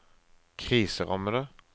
kriserammede